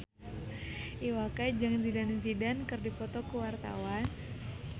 Iwa K jeung Zidane Zidane keur dipoto ku wartawan